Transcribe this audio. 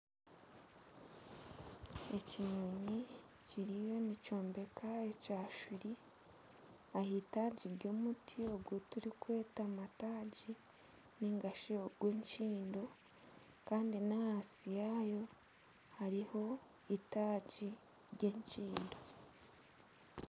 Ekinyonyi kiriyo nikyombeka ekyashuuri ah'itaagi ry'omuti ogu turikweta mataagi nigashi ogw'ekindo kandi n'ahansi yaayo hariho itaagi ry'ekindo.